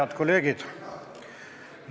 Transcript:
Head kolleegid!